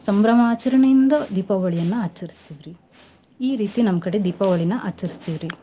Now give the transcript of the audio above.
ಸಂಬ್ರಮಾಚರ್ಣೆಯಿಂದ ದೀಪಾವಳಿಯನ್ನ ಆಚರಸ್ತಿವ್ ರಿ ಈ ರೀತಿ ನಮ್ ಕಡೆ ದೀಪಾವಳಿನ ಆಚರಸ್ತಿವ್ ರಿ .